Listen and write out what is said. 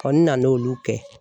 n nan'olu kɛ